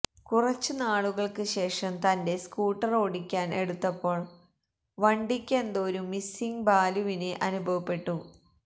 കുറച്ചു നാളുകൾക്ക് ശേഷം തന്റെ സ്കൂട്ടർ ഓടിക്കാൻ എടുത്തപ്പോൾ വണ്ടിയ്ക്ക് എന്തോ ഒരു മിസ്സിംഗ് ബാലുവിന് അനുഭവപ്പെടുന്നു